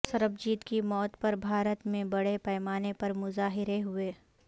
سربجیت کی موت پر بھارت میں بڑے پیمانے پر مظاہرے ہوئے